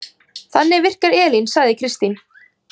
Þannig virkar Elín, sagði Kristín.